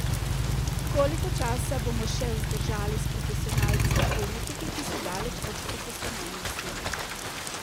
Koliko časa bomo še vzdržali s profesionalci in politiki, ki so daleč od profesionalnosti?